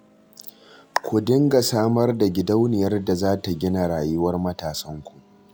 Ku dinga samar da gidauniyar da za ta gina rayuwar matasanku.